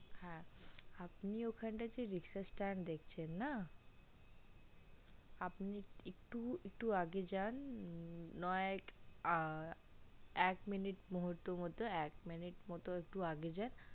হ্যা আপনি ওখানটাতে যে riksha staind দেখছেন না আপনি একটু আগেএকটু যান নয় এক এক minit মুহূর্তের মতো minit মতো আগে যান